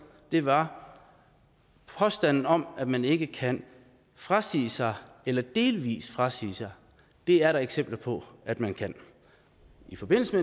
var påstanden om at man ikke kan frasige sig eller delvis frasige sig det er der eksempler på at man kan i forbindelse